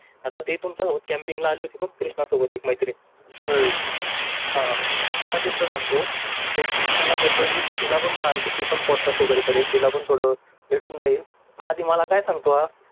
आता ते तुमचा हाऊस कॅम्पिंग आली होती व कृष्णा सोबत एक मैत्रीण तिचा किस्सा सांगतो तरी कृष्णाला बोललो मी तिला पण सांग की ती पण पोट का शो करेल तिला पण थोडं भेटून जाईल तर आधी मला काय सांगतो हा